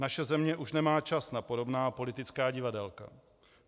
Naše země už nemá čas na podobná politická divadélka.